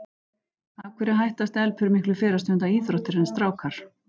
Af hverju hætta stelpur miklu fyrr að stunda íþróttir en strákar?